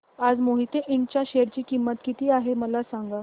आज मोहिते इंड च्या शेअर ची किंमत किती आहे मला सांगा